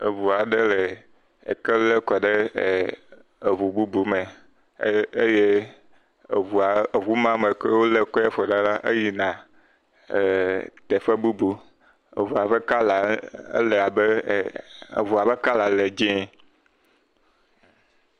Eŋu aɖe le eke ʋe kɔ ɖe eŋu bubu me eye eŋu yi me wo le eke la kɔm ɖo la yina teƒe bubu eye eŋua ƒe kɔla le abe e.. eŋua ƒe kɔla le dzɛ̃e